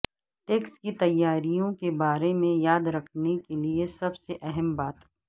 tax کی تیاریوں کے بارے میں یاد رکھنے کے لئے سب سے اہم بات